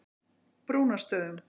Brúnastöðum